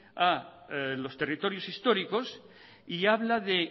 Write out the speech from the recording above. a los territorios históricos y habla de